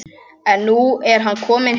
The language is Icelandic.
En nú er hann kominn heim.